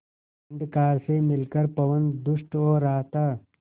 अंधकार से मिलकर पवन दुष्ट हो रहा था